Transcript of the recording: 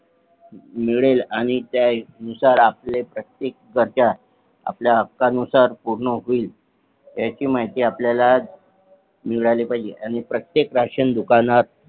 मिळेल आणि त्या नुसार आपल्या प्रत्येक गरजा आपल्या हक्क अनुसार पूर्ण होईल ह्याची माहिती आपल्याला मिळाली पाहिजे आणि प्रत्येक राशन दुकानात